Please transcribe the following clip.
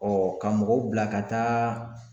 ka mɔgɔw bila ka taa